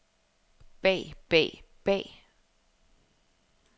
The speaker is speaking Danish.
bag bag bag